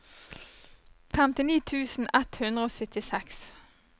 femtini tusen ett hundre og syttiseks